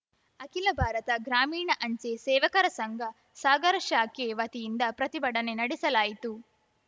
ಅಖಿಲ ಭಾರತ ಗ್ರಾಮೀಣ ಅಂಚೆ ಸೇವಕರ ಸಂಘ ಸಾಗರ ಶಾಖೆ ವತಿಯಿಂದ ಪ್ರತಿಭಟನೆ ನಡೆಸಲಾಯಿತು